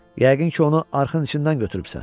Yəqin ki, onu arxın içindən götürübsən.